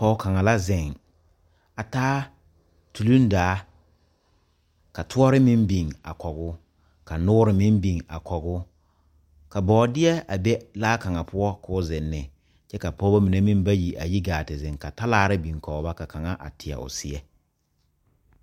Pɔge kaŋa la zeŋ a taa tulindaa ka toɔre meŋ biŋ a kɔge o ka noore meŋ biŋ a kɔge o ka bɔɔdeɛ a be laa kaŋ poɔ k,o zeŋ ne kyɛ ka pɔgeba mine meŋ bayi a yi gaa te zeŋ ka talaare biŋ kɔge ba ka kaŋa are teɛ o seɛ.